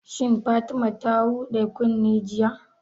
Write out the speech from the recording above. Shin Fatima ta huɗa kunne jiya?